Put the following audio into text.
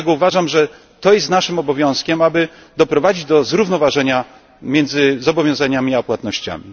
Dlatego uważam, że to jest naszym obowiązkiem, aby doprowadzić do zrównoważenia między zobowiązaniami a płatnościami.